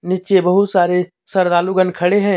नीचे बहुत सारे श्रद्धालु गण खड़े हैं।